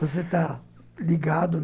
Você está ligado.